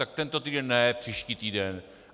Tak tento týden ne, příští týden.